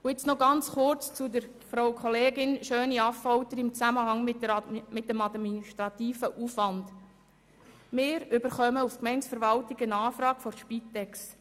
Jetzt noch kurz zu Frau Kollegin Schöni-Affolter im Zusammenhang mit dem administrativen Aufwand: Wir erhalten seitens der Gemeindeverwaltung eine Anfrage der Spitex.